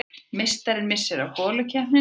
Meistarinn missir af holukeppninni